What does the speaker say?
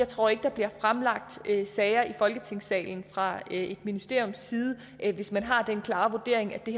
tror at der bliver fremlagt sager i folketingssalen fra et ministeriums side hvis man har den klare vurdering at det